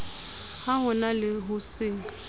ho na le ho se